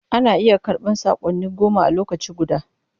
Ana iya karɓan saƙonni goma a lokaci guda.